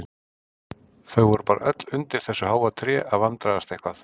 Þau voru bara öll undir þessu háa tré að vandræðast eitthvað.